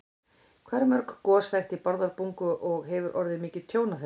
Hvað eru mörg gos þekkt í Bárðarbungu og hefur orðið mikið tjón af þeim?